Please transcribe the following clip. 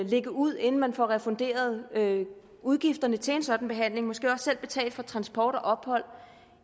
lægge ud inden man får refunderet udgifterne til en sådan behandling måske også selv betale for transport og ophold